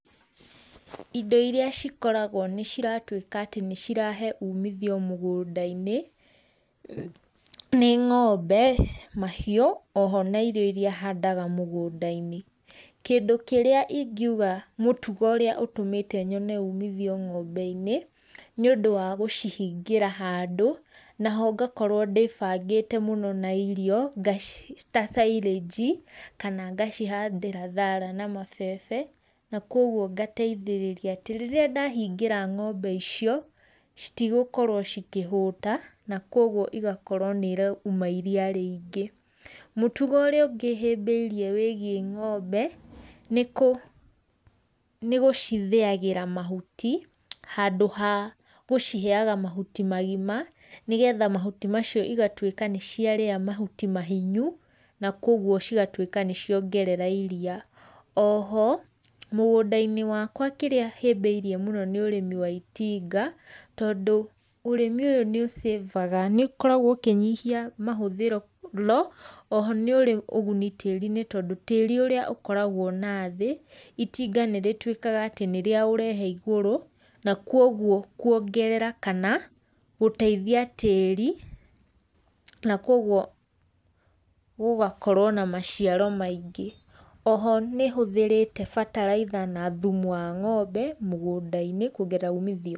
Indo irĩa cikoragwo nĩ ciratũĩka atĩ nĩ cirahe ũmithio mũgũnda-inĩ , nĩ ngombe mahĩũ oho na irio handaga mũgũnda-inĩ. Kĩndũ kĩrĩa igĩũga mũtũgo ũrĩa ũtũmete nyone ũmĩthĩo ngombe-inĩ, nĩ ũndũ wa gũcihĩngĩra handũ na oho gakorwo ndĩbagĩte mũno na irio ta silage kana gacihandĩra thara na mabebe, na kogwo gateithĩrĩria atĩ rĩrĩa ndahĩngĩra ngombe icio citigũkorwo cikĩhũta na kogwo igakorwo nĩ iraũma iria rĩingĩ. Mũtũgo ũrĩa ũngĩ hĩmbĩirĩe wĩgiĩ ngombe, nĩ gũcithĩagĩra mahũti handũ ha kũciheaga mahũti magĩma, nĩgetha mahũtĩ macio igatũĩka nĩ ciarĩa mahũti mahĩnyũ na kogwo cigatũĩka nĩ ciaongorera iria. Oho mũgũnda-inĩ wakwa kĩrĩa hĩmbĩrĩe mũno nĩ ũrĩmi wa itinga, tondũ ũrĩmi ũyũ nĩũ save-aga nĩ ũkoragwo ũkĩnyĩhĩa mahũthĩro mũno. Oho nĩ ũrĩ ũgũnĩ tĩri-inĩ, tondũ tĩri ũrĩa ũkoragwo nathĩ, itinga nĩrĩtũĩkaga atĩ nĩrĩa ũrehe na igũrũ, na kogwo kũongerera kana gũteĩthia tĩri, na kogwo gũgakorwo na macĩaro maingĩ, oho nĩhũthĩrĩte bataraitha na thumu wa ngombe mũgũnda-inĩ kũongerera ũmĩthĩo.